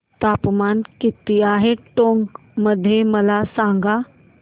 तापमान किती आहे टोंक मध्ये मला सांगा